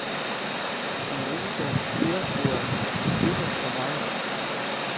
Den rosa fjerboa fnugger for meget.